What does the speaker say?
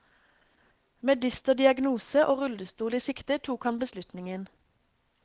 Med dyster diagnose og rullestol i sikte tok han beslutningen.